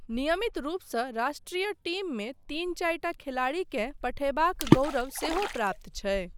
नियमित रूपसँ राष्ट्रीय टीममे तीन चारिटा खेलाड़ीकेँ पठयबाक गौरव सेहो प्राप्त छै।